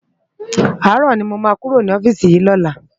Àárò ni mó má kúró ni òfisi yi lòlá